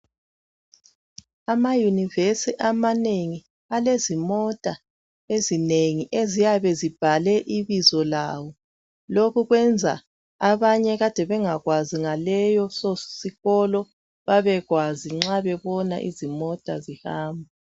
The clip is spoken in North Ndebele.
AmaYunivesi amanengi balezimota ezinengi eziyabe zibhalwe ibizo lawo. Lokho kwenza abanye abakade bengakwazi ngaleso sikolo babekwazi nxa bebona izimota zihamba.